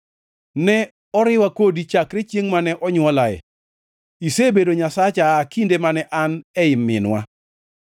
Ne oriwa kodi chakre chiengʼ mane onywolae; isebedo Nyasacha aa kinde mane an ei minwa.